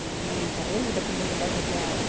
и параллельно даже можно даже для